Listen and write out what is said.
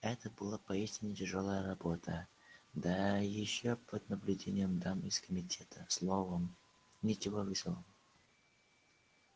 это была поистине тяжёлая работа да ещё под наблюдением дам из комитета словом ничего весёлого